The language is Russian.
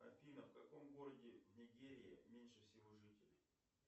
афина в каком городе в нигерии меньше всего жителей